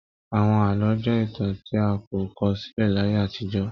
Àwọn àlọ jẹ ìtàn tí a kò kọ sílẹ láyé àtijọ́.